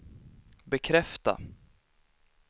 bekräfta